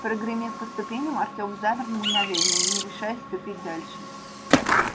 прогремев по ступеням артём замер на мгновение не решаясь ступить дальше